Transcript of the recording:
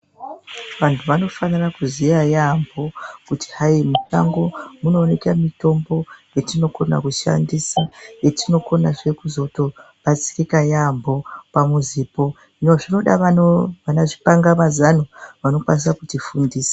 Vantu vanofanira kuziya yaamho kuti hai mushango munowoneke mitombo yetinokona kushandisa yetinokonazve kuzotobatsirika yaamho pamuzipo hino zvinoda vana chipangamazano vanokwanisa kutifundisa.